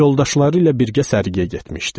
Yoldaşları ilə birgə sərgiyə getmişdi.